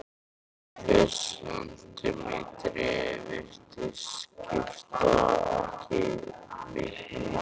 Hver sentímetri virðist skipta miklu máli.